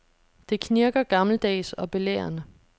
Det knirker gammeldags og belærende.